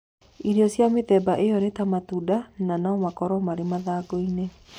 Irio cia mĩthemba ĩyo nĩ ta matunda, na no makorũo marĩ mathangũ-inĩ